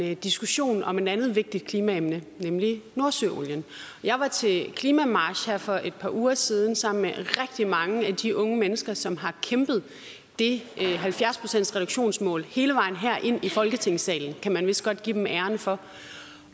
en diskussion om et andet vigtigt klimaemne nemlig nordsøolien jeg var til klimamarch her for et par uger siden sammen med rigtig mange af de unge mennesker som har kæmpet det halvfjerds procentsreduktionsmål hele vejen her ind i folketingssalen kan man vist godt give dem æren for